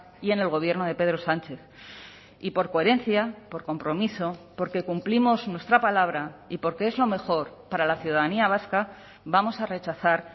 y en el gobierno de pedro sánchez y por coherencia por compromiso porque cumplimos nuestra palabra y porque es lo mejor para la ciudadanía vasca vamos a rechazar